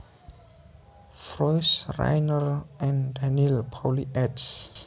Froese Rainer and Daniel Pauly eds